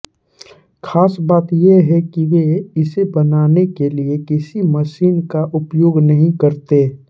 खास बात ये कि वे इसे बनाने के लिए किसी मशीन का उपयोग नहीं करते